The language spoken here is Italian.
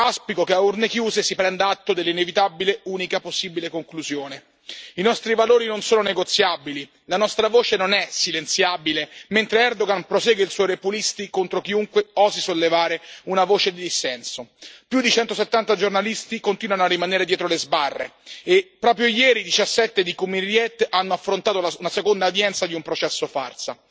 Auspico che a urne chiuse, si prenda atto dell'inevitabile unica conclusione possibile i nostri valori non sono negoziabili, la nostra voce non è silenziabile, mentre Erdogan prosegue il suo repulisti contro chiunque osi sollevare una voce di dissenso più di 170 giornalisti continuano a rimanere dietro le sbarre e, proprio ieri, 17 giornalisti di Cumhuriyet hanno affrontato la seconda udienza di un processo farsa.